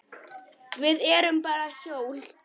Við erum bara hjól.